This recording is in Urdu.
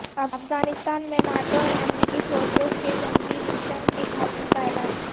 افغانستان میں ناٹو اور امریکی فورسیز کے جنگی مشن کے خاتمہ کا اعلان